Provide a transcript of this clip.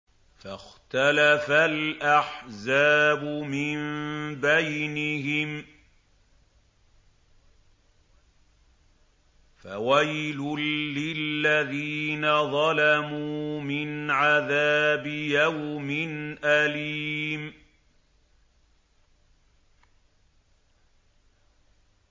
فَاخْتَلَفَ الْأَحْزَابُ مِن بَيْنِهِمْ ۖ فَوَيْلٌ لِّلَّذِينَ ظَلَمُوا مِنْ عَذَابِ يَوْمٍ أَلِيمٍ